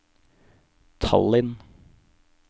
Tallinn